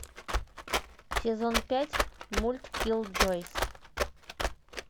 сезон пять мульт киллджойс